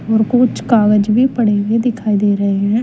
और कुछ कागज भी पढ़ें हुऐ दिखाई दे रहे हैं।